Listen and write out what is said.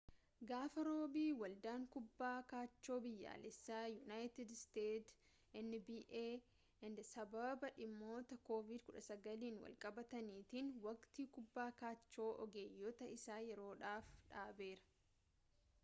gaafa roobii ‘waldaan kubbaa kaachoo biyyaalessaa yuunaayitid isteetsi nba’n sababa dhimmoota covid-19n walqabatanniitiin waqtii kubbaa kaachoo ogeeyyotaa isaa yeroof dhaabeera